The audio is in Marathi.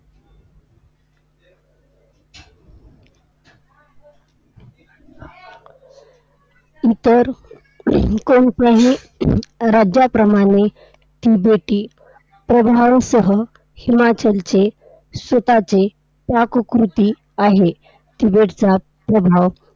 इतर कोणत्याही राज्याप्रमाणे तिबेटी प्रभावसह हिमाचलचे स्वतःचे पाककृती आहे. तिबेटचा प्रभाव